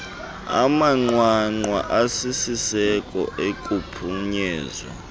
amanqwanqwa asisiseko okuphunyezwa